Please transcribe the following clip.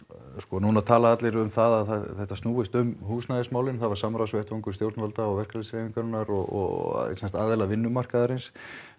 núna tala allir um að þetta snúist um húsnæðismálin það er samráðsvettvangur stjórnvalda og verkalýðshreyfingar og aðilar vinnumarkaðsins